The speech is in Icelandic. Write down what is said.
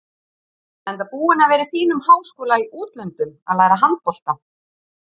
Enda búinn að vera í fínum háskóla í útlöndum að læra handbolta.